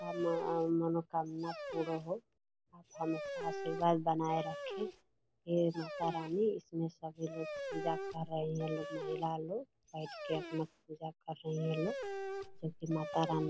अ म अ मनोकामना पूरा होइ हमेशा आशीर्वाद बनाए रखी हे माता रानी इसमें सभी लोग पूजा कर रही है लोग महिला लोग बैठ के अपना पूजा कर रही है लोग जब कि माता रानी --